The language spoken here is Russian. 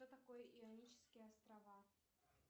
что такое ионические острова